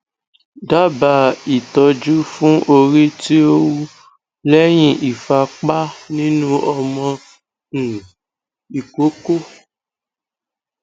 daba itoju fun ori ti o wu lehin ifapa ninu omo um ikoko